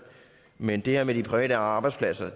men det her med de private arbejdspladser